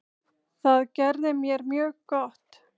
Það gerði mér mjög gott.